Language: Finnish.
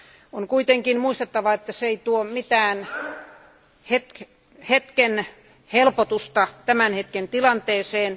On kuitenkin muistettava, että se ei tuo mitään hetken helpotusta tämän hetken tilanteeseen.